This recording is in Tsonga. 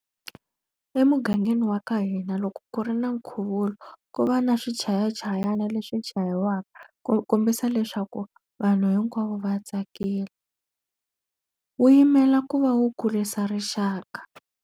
Emugangeni wa ka hina loko ku ri na nkhuvulo ku va na swichayachayani leswi chayiwaku, ku kombisa leswaku vanhu hinkwavo va tsakile. Wu yimela ku va wu kurisa rixaka.